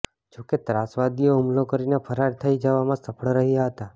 જો કે ત્રાસવાદીઓ હુમલો કરીને ફરાર થઇ જવામાં સફળ રહ્યા હતા